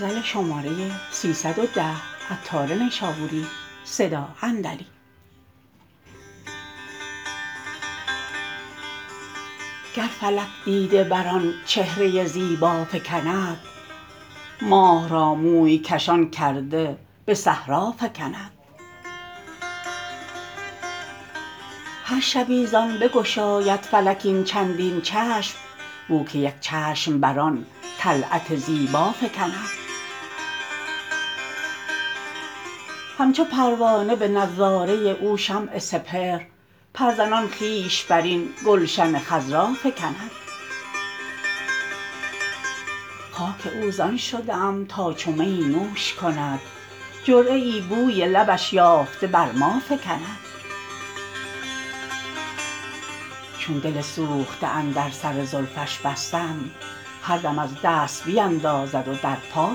گر فلک دیده بر آن چهره زیبا فکند ماه را موی کشان کرده به صحرا فکند هر شبی زان بگشاید فلک این چندین چشم بو که یک چشم بر آن طلعت زیبا فکند همچو پروانه به نظاره او شمع سپهر پر زنان خویش برین گلشن خضرا فکند خاک او زان شده ام تا چو میی نوش کند جرعه ای بوی لبش یافته بر ما فکند چون دل سوخته اندر سر زلفش بستم هر دم از دست بیندازد و در پا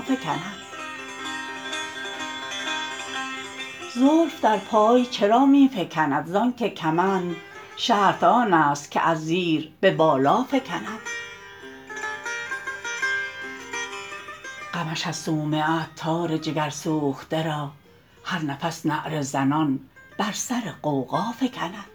فکند زلف در پای چرا می فکند زانکه کمند شرط آن است که از زیر به بالا فکند غمش از صومعه عطار جگر سوخته را هر نفس نعره زنان بر سر غوغا فکند